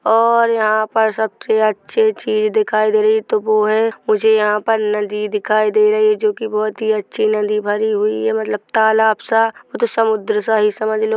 --और यहाँ पर सबसे अच्छी चीज़ दिखाई दे रही तो वो है मुझे यहाँ पर नदी दिखाई दे रही है जो कि बहुत ही अच्छी नदी भरी हुई है मतलब तालाब सा उतो समुद्र सा ही समझ लो।